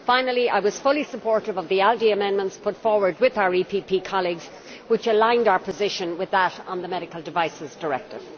Finally, I was fully supportive of the ALDE amendments put forward with our EPP colleagues, which aligned our position with that on the medical devices directive.